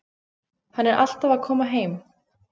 Hann er alltaf að koma heim.